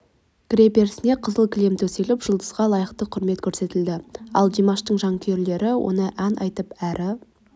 кіреберісіне қызыл кілем төселіп жұлдызға лайық құрмет көрсетілді ал димаштың жанкүйерлері оны ән айтып әрі